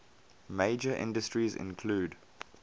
major industries include